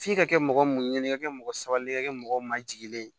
F'i ka kɛ mɔgɔ mun ye i ka kɛ mɔgɔ sabalilen ye i ka kɛ mɔgɔ ma jigilen ye